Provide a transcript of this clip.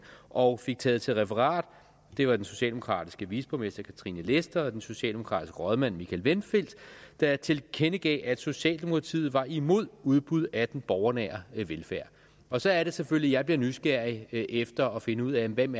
og fik taget til referat det var den socialdemokratiske viceborgmester katrine lester og den socialdemokratiske rådmand michael vindfeldt der tilkendegav det at socialdemokratiet var imod udbud af den borgernære velfærd og så er det selvfølgelig at jeg bliver nysgerrig efter at finde ud af hvem